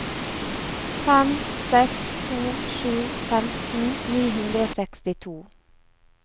fem seks to sju femten ni hundre og sekstito